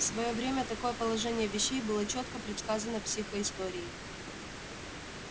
в своё время такое положение вещей было чётко предсказано психоисторией